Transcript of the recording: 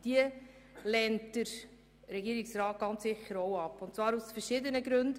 Auch diese lehnt der Regierungsrat ganz sicher ab und zwar aus verschiedenen Gründen.